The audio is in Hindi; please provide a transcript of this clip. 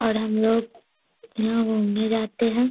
और हमलोग यहाँ घूमने जाते हैं।